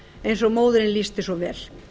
eins og móðirin lýsti svo vel